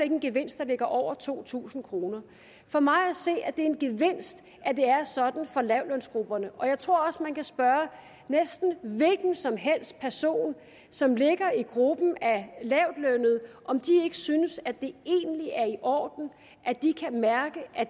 en gevinst der ligger over to tusind kroner for mig at se er det en gevinst at det er sådan for lavtlønsgrupperne og jeg tror også man kan spørge næsten en hvilken som helst person som ligger i gruppen af lavtlønnede om de ikke synes at det egentlig er i orden at de kan mærke at